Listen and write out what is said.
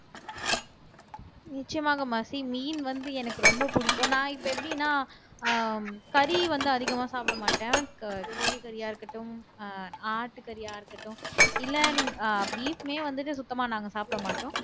நிச்சயமாக மெர்சி மீன் வந்து எனக்கு ரொம்ப பிடிக்கும் நான் இப்ப எப்படின்னா ஆஹ் கறி வந்து அதிகமா சாப்பிட மாட்டேன் கோழி கறியா இருக்கட்டும் ஆஹ் ஆட்டுக்கறியா இருக்கட்டும் இல்ல நீங்க ஆஹ் beef மே வந்துட்டு சுத்தமா நாங்க சாப்பிட மாட்டோம்